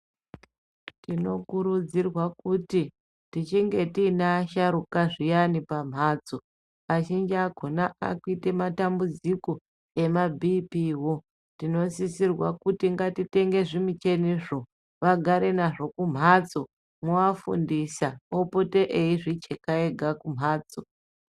Tinokurudzirwa kuti tichinge tine asharuka zviyani pamhatso azhinji akhona akuite matambudziko emabhiipiwo tinosisirwa kuti ngatitenge zvimichenizvo vagare nazvo kumhatso mwowafundisa opote eizvicheka ega kumhatso.